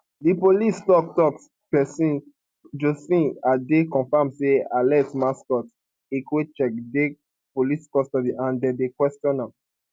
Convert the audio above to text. di police toktok pesin josephine adeh confam say alex mascot ikwechegh dey police custody and dem dey kwesion am